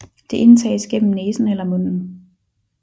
Det indtages gennem næsen eller munden